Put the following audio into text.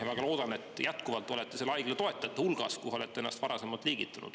Ja väga loodan, et jätkuvalt olete selle haigla toetajate hulgas, kuhu varem olete ennast liigitanud.